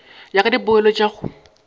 ya ka dipoelo tša go